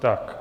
Tak.